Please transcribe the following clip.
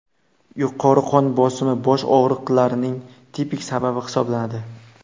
Yuqori qon bosimi bosh og‘riqlarining tipik sababi hisoblanadi”.